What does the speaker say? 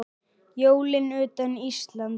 Jólin utan Íslands